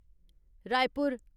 Raipur